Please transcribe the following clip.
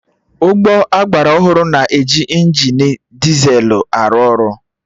Ụgbọ agbara ọhụrụ na-eji injini dizelụ arụ ọrụ